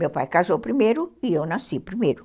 Meu pai casou primeiro e eu nasci primeiro.